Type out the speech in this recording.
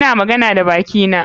Ina magana da bakina.